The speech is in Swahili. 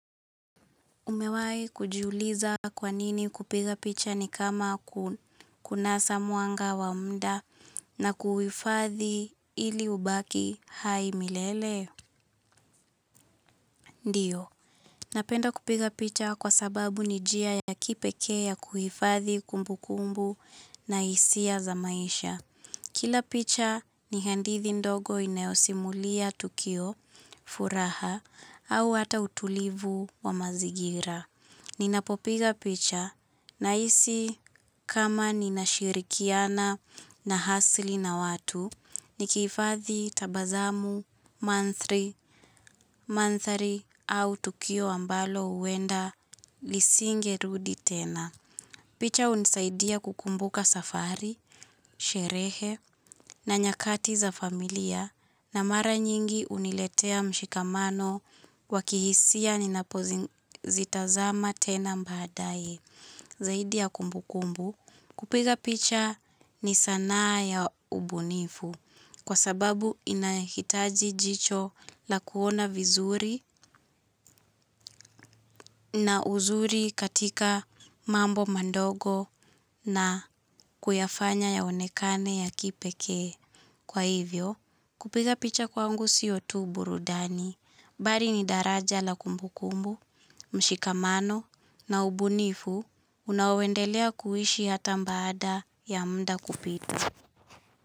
Umewahi kujiuliza kwa nini kupiga picha ni kama kunasa mwanga wa muda na kuhifadhi ili ubaki hai milele? Ndiyo, napenda kupiga picha kwa sababu ni njia ya kipekee ya kuhifadhi kumbukumbu na hisia za maisha. Kila picha ni hadithi ndogo inayosimulia tukio, furaha au hata utulivu wa mazingira. Ninapopiga picha nahisi kama ninashirikiana na asili na watu, nikihifadhi tabasamu, mandhari, mandhari au tukio ambalo huenda lisingerudi tena. Picha hunisaidia kukumbuka safari, sherehe na nyakati za familia na mara nyingi huniletea mshikamano wa kihisia ninapozitazama tena baadaye. Zaidi ya kumbukumbu, kupiga picha ni sanaa ya ubunifu kwa sababu inahitaji jicho la kuona vizuri na uzuri katika mambo madogo na kuyafanya yaonekane ya kipekee. Kwa hivyo, kupiga picha kwangu sio tu burudani, bali ni daraja la kumbukumbu, mshikamano na ubunifu unaoendelea kuishi hata baada ya muda kupita.